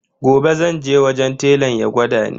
Gobe zan je wajen telan ya gwada ni.